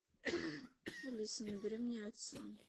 алиса набери мне отца